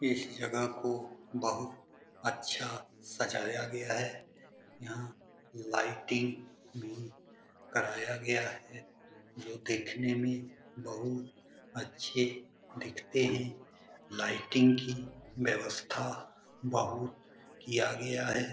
इस जगह को बहोत अच्छा सजाया गया है यहाँ लाइटिंग भी कराया गया है जो देखने मे बहोत अच्छे दिखते हैं लाइटिंग की व्यवस्था बहोत किया गया है।